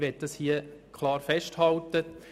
Das möchte ich hier klar festhalten;